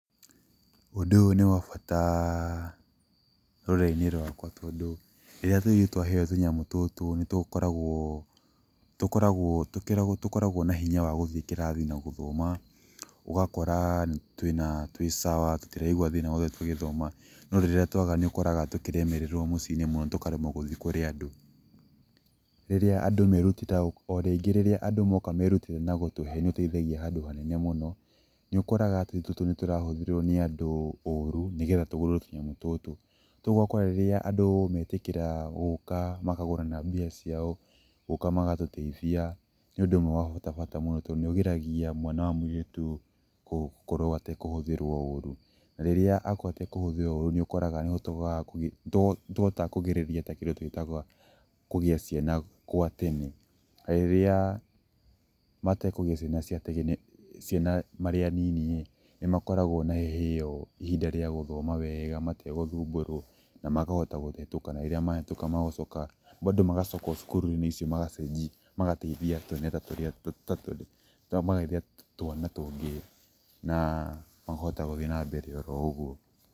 Ũndũ ũyũ nĩ wa bata, rũrĩrĩ-inĩ rwakwa tondũ, rĩrĩa tũirĩtu twaheo tũnyamũ tũtũ, nĩ tũkoragwo, nĩ tũkoragwo twĩna hinya wa gũthiĩ kĩrathi na gũthoma. Ũgakora twĩ sawa tũtiraigua thĩna tũgĩthoma no rĩrĩa twaga nĩ ũkoraga tũkĩremererwo mũciĩ-inĩ mũno tũkaremwo gũthiĩ kũrĩ andũ. Rĩrĩa andũ, o rĩngĩ rĩrĩa andũ moka merutĩra gũtũhe nĩ ũteithagia handũ hanene mũno, nĩ ũkoragwo atĩ tũtũ nĩ tũrahũthĩrwo nĩ andũ ũru, nĩgetha tũgũrĩrwo tũnyamũ tũtũ. Ta rĩu ũgakora rĩrĩa andũ metĩkĩra gũka makagũra na mbia ciao, gũka magatũteithia nĩ ũndũ ũmwe wa bata mũno tondũ nĩ ũgiragia mwana wa mũirĩtu gũkorwo atekũhũthĩrwo ũru. Rĩrĩa akorwo atekũhũthĩrwo ũru nĩ ũkoraga nĩ tũhotaga kũgirĩrĩria kũgĩa ciana gwa tene. Na rĩrĩa matekũgĩa ciana marĩa anini ĩ, nĩ makoragwo na ihinda rĩa gũthoma wega mategũthumburwo na makahota kũhetũka na rĩrĩa mahetũka magacoka bado magacoka o cukuru-inĩ icio magacenjia, magateithia twana tũngĩ na makahota gũthiĩ na mbere oro ũguo.